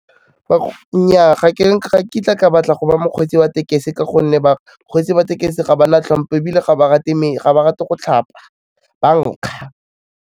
Nnyaa ga kitla ka batla go ba mokgweetsi wa tekesi ka gonne bakgweetsi ba tekesi ga ba na hlompho ebile ga ba rate go tlhapa, ba nkga.